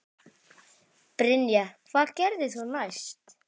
Brynja: Hvað gerðir þú næst?